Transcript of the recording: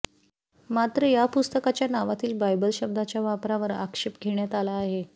मात्र या पुस्तकाच्या नावातील बायबल शब्दाच्या वापरावर आक्षेप घेण्यात आला आहे